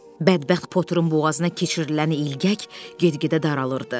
Bədbəxt Potterin boğazına keçirilən ilgək get-gedə daralırdı.